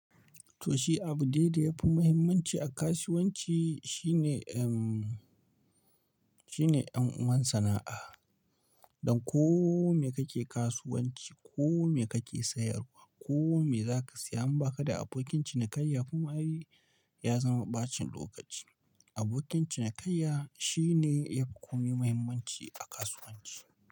Toh shi abu dai ya fi muhimmanci a kasuwanci shine shine 'yan uwan sana'a. Don ko me kake kasuwanci, ko me kake sayarwa, ko me zaka saya, in ba ka da abokin cinikayya kuma ai ya zama ɓacin lokaci. Abokin cinikayya shine yafi komai muhimmanci a kasuwanci.